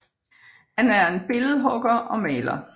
Han er en billedhugger og maler